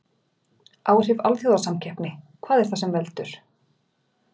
Áhrif alþjóðasamkeppni Hvað er það sem veldur?